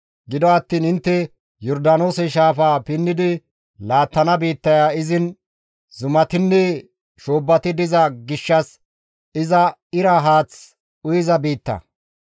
Gido attiin intte Yordaanoose shaafaa pinnidi laattana biittaya izin zumatinne shoobbati diza gishshas iza ira haath uyiza biitta.